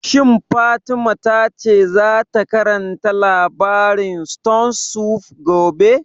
Shin Fatima ta ce za ta karanta labarin stone soup gobe?